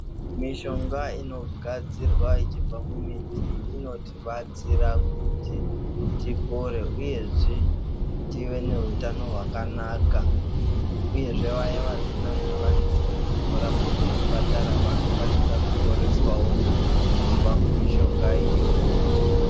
Mishonga inogadzirwa ichibva mumiti inobatsira kuti tipore uyezve tive neutano hwakanaka uyezve waya waya vasina zvikwanisiro zvekundorapwa kuzvipatara vakwanise kuporeswawo Kubva mumishonga iyoyi .